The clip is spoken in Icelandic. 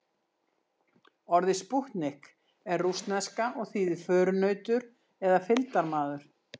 Orðið spútnik er rússneska og þýðir förunautur eða fylgdarmaður.